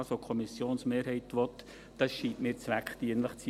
Was die Kommissionsmehrheit will, scheint mir zweckdienlich zu sein.